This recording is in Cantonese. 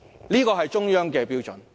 這是中央的標準。